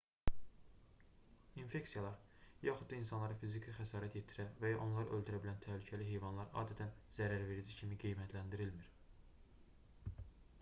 i̇nfeksiyalar yaxud da insanlara fiziki xəsarət yetirə və ya onları öldürə bilən təhlükəli heyvanlar adətən zərərverici kimi qiymətləndirilmir